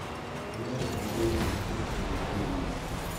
iyogun tebutiet en jumia